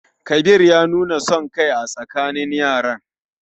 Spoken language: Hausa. Kabir ya nuna son kai a tsakanin yaran.